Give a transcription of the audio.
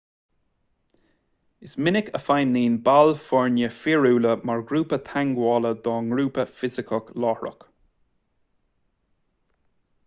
is minic a fheidhmíonn baill foirne fíorúla mar phointe teagmhála dá ngrúpa fisiceach láithreach